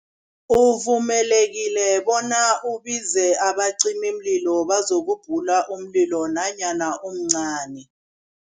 Uvumelekile bona ubize abacimimlilo bazokubhula umlilo nanyana umncani.